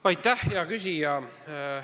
Aitäh, hea küsija!